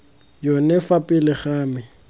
yone fa pele ga me